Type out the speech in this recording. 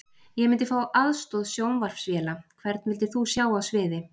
Ég myndi fá aðstoð sjónvarpsvéla Hvern vildir þú sjá á sviði?